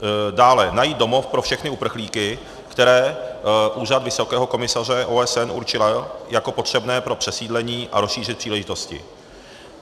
Dále, najít domov pro všechny uprchlíky, které Úřad vysokého komisaře OSN určil jako potřebné pro přesídlení a rozšířit příležitosti.